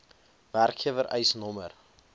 werkgewer eis nr